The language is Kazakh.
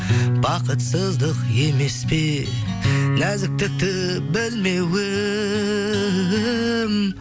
бақытсыздық емес пе нәзіктікті білмеуім